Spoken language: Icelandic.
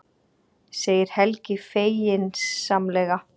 segir Helgi feginsamlega.